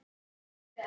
Þau eiga fjögur börn